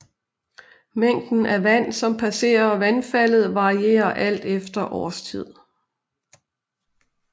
Mængden af vand som passerer vandfaldet varierer alt efter årstid